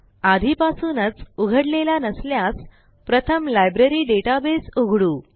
आधीपासूनच उघडलेला नसल्यास प्रथम लायब्ररी डेटाबेस उघडू